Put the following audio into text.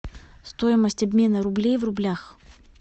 стоимость обмена рублей в рублях